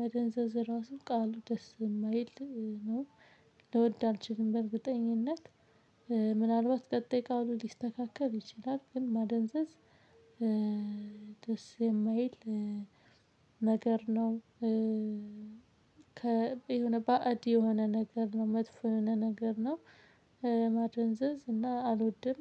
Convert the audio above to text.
መደንዘዝ ራሱ ቃሉ ደስ የማይል ነው። ልወድ አልችልም በእርግጠኝነት። ምናልባት ቀጣይ ቃሉ ሊስተካከል ይችላል። ግን ማደንዘዝ ደስ የማይል ነገር ነው። የሆነ ባዕድ የሆነ ነገር ነው መጥፎ የሆነ ነገር ነው። ማድንዘዝ እና አልወድም